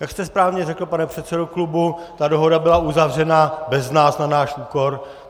Jak jste správně řekl, pane předsedo klubu, ta dohoda byla uzavřena bez nás, na náš úkor.